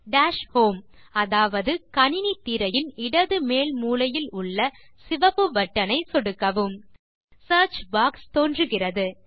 dash home அதாவது கணினி திரையின் இடது மேல் மூலையில் உள்ள சிவப்பு பட்டனை சொடுக்கவும் சியர்ச் பாக்ஸ் தோன்றுகிறது